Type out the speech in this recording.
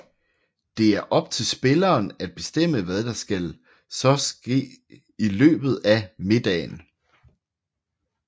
Det er op til spilleren at bestemme hvad der så skal ske i løbet af middagen